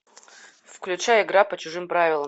включай игра по чужим правилам